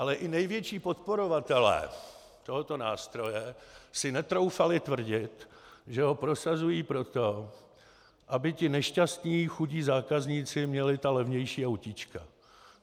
Ale i největší podporovatelé tohoto nástroje si netroufali tvrdit, že ho prosazují proto, aby ti nešťastní chudí zákazníci měli ta levnější autíčka.